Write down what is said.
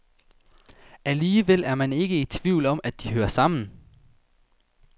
Alligevel er man ikke i tvivl om, at de hører sammen.